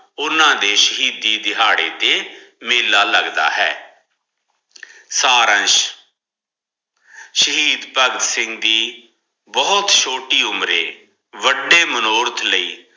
ਓਹਨਾਂਦੇ ਸ਼ਹੀਦੀ ਦਿਹਾੜੇ ਤੇ ਮੇਲਾ ਲੱਗਦਾ ਹੈ ਸਾਰਾਂਸ਼ ਸ਼ਹੀਦ ਭਗਤ ਸਿੰਘ ਦੀ ਬਹੁਤ ਛੋਟੀ ਉਮਰੇ ਵਡੇ ਮਨੋਰਥ ਲਈ।